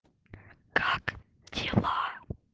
как дела